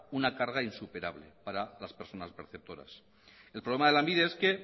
una carga insuperable para las personas perceptoras el problema de lanbide es que